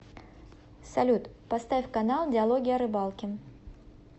салют поставь канал диалоги о рыбалке